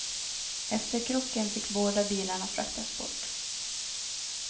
Efter krocken fick båda bilarna fraktas bort.